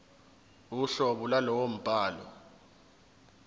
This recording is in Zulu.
uhlobo lwalowo mbhalo